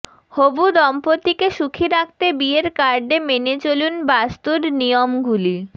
হবু দম্পতিকে সুখী রাখতে বিয়ের কার্ডে মেনে চলুন বাস্তুর নিয়মগুলি